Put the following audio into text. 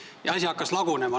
Ja asi hakkaski lagunema.